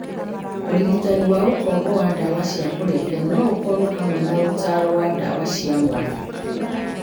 Ũrigitani wa ũkombo wa ndawa cia kũrebia no ũkorũohamwe na ũtaaro na ndawa cia mwanya.